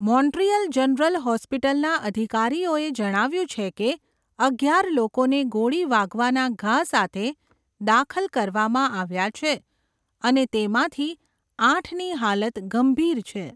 Montreal general હોસ્પિટલના અધિકારીઓએ જણાવ્યુંં છે કે અગિયાર લોકોને ગોળી વાગવાના ઘા સાથે દાખલ કરવામાં આવ્યા છે અને તેમાંથી આઠની હાલત ગંભીર છે.